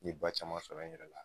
ba caman sɔrɔ n yɛrɛ la